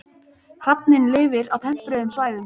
Hrafninn lifir á tempruðum svæðum.